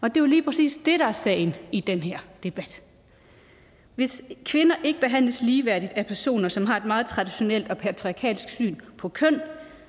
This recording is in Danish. er jo lige præcis det der er sagen i den her debat hvis kvinder ikke behandles ligeværdigt af personer som har et meget traditionelt og patriarkalsk syn på køn